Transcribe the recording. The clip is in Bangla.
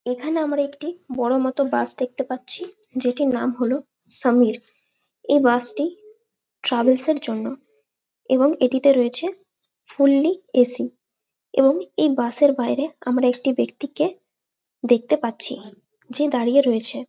এখানে আমরা একটি বড়ো মতো বাস দেখতে পাচ্ছি যেটির নাম হলো সমীর এই বাস -টি ট্রাভেলস -এর জন্য এবং এটিতে রয়েছে ফুললি এ.সি. এবং বাস -এর বাইরে আমরা একটি ব্যাক্তিকে দেখতে পাচ্ছি যে দাঁড়িয়ে রয়েছে।